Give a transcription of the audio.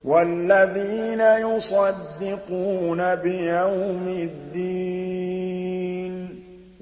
وَالَّذِينَ يُصَدِّقُونَ بِيَوْمِ الدِّينِ